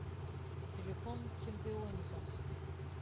телефон чемпионика